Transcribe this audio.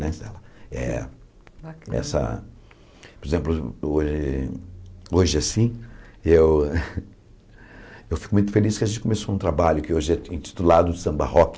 Nessa eh por exemplo, eu eh hoje assim, eu eu fico muito feliz que a gente começou um trabalho que hoje é intitulado Samba Rock,